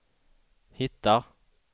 hittar